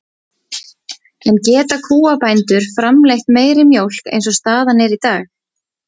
En geta kúabændur framleitt meiri mjólk eins og staðan er í dag?